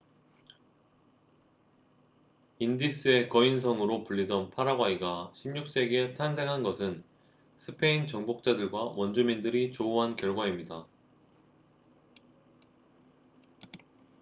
인디스의 거인성'으로 불리던 파라과이가 16세기에 탄생한 것은 스페인 정복자들과 원주민들이 조우한 결과입니다